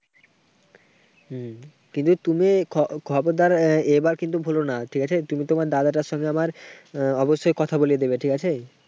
হম কিন্তু, তুমি খ~খবরদার। এবার কিন্তু ভুলোনা, ঠিক আছে। তুমি তোমার দাদাটার সঙ্গে আমার অবশ্যই কথা বলিয়ে দিবে। ঠিক আছে,